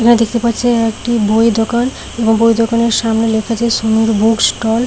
আমরা দেখতে পাচ্ছি একটি বইয়ের দোকান এবং বইয়ের দোকানের সামনে লেখা আছে সমীর বুক ষ্টল ।